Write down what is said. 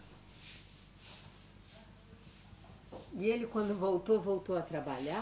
E ele quando voltou, voltou a trabalhar?